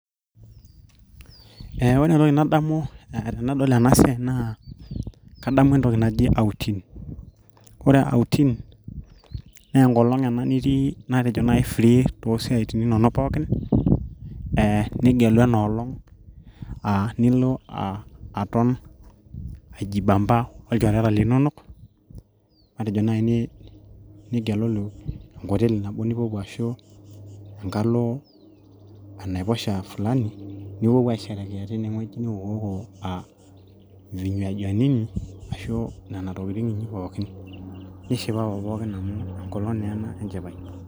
Eee ore entoki nadamu tenadol ena siaai naa kadamu entoki naji outing kore outing naa enkolong ena nitii matejo naaji ira free[cs toosiatin inonok pookin ee nigelu enoolong aa nilo aa aton aijibamba olchoreta linonok matejo naaji nigelulu enkoteli nabo nipuopuo ashuu enkalo enaiposha fulani nipuo puo aisherekea tenewueji niwokuwoko aa irkinywajini inyi ashu nena tokitin pookin nishipapa pookin amu enkolong naa ena enchipai.